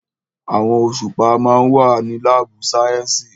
Àwòrán òṣùpá ma wà ní lábù sàyẹ́sì.